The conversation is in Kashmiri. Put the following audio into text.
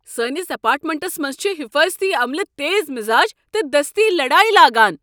سٲنس اپارٹمنٹس منٛز چھُ حیفاضتی عملہٕ تیز مِزاج تہٕ دستی لڈایہ لاگان۔